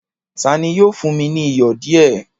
Tani yóò fún mi ni iyọ̀ díẹ̀?